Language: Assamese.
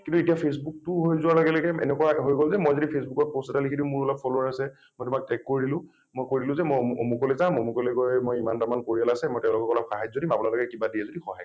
কিন্তু এতিয়া facebook টো হৈ যোৱাৰ লগে লগে এনেকুৱা হৈ গল যে মই যদি facebook ত post এটা লিখি দিওঁ মোৰ অলপ follower আছে মই তোমাক tag কৰি দিলো মই আমুক আমুকলৈ যাম , আমুকলৈ গৈ মই ইমান টা মান পৰিয়াল আছে মই তেওঁলোকক অলপ সাহায্য দিম আপোনালোকে কিবা দিয়ে যদি সহায় কৰিব পাৰে ।